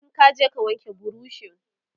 in kaje ka wanke burushin!